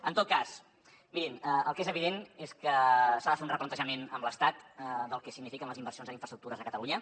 en tot cas mirin el que és evident és que s’ha de fer un replantejament amb l’estat del que signifiquen les inversions en infraestructures a catalunya